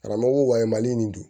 Karamɔgɔko wale mali nin don